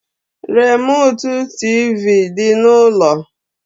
Remụtụ tịvị dị n’ụlọ